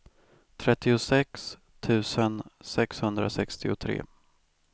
trettiosex tusen sexhundrasextiotre